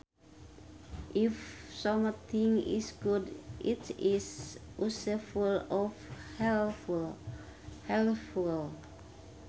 If something is good it is useful or helpful